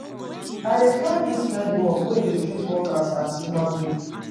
I dey find dis kain work wey dey treat workers as human being.